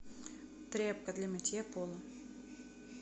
тряпка для мытья пола